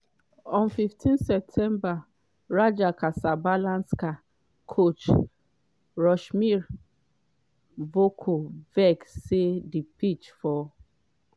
on 15 september raja cassablanca coach rusmir cvirko vex say di pitch for